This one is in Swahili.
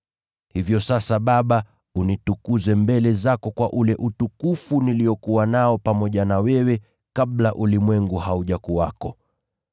Hivyo sasa, Baba, unitukuze mbele zako kwa ule utukufu niliokuwa nao pamoja na wewe kabla ulimwengu haujakuwepo.